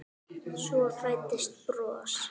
Svo fæddist bros.